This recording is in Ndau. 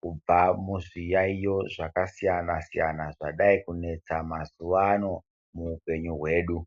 kubva muzviyaiyo zvakasiyana -siyana zvadai kunetsa mazuwano muupenyu hwedu.